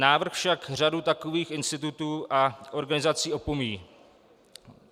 Návrh však řadu takových institutů a organizací opomíjí.